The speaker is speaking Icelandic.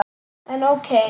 En ókei.